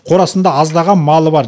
қорасында аздаған малы бар